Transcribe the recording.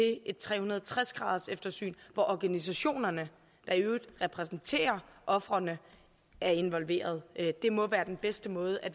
tre hundrede og tres graderseftersyn hvor organisationerne der i øvrigt repræsenterer ofrene er involveret det må være den bedste måde at